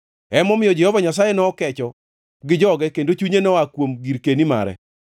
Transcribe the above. Emomiyo Jehova Nyasaye nokecho gi joge kendo chunye noa kuom girkeni mare.